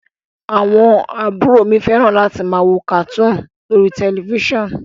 Àwọn àbúrò mi fẹ́ràn láti máa wo kàtúùnù lórí tẹ̀lifísàn